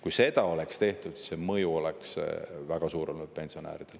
Kui seda oleks tehtud, siis mõju pensionäridele oleks olnud väga suur.